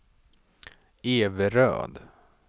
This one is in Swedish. Everöd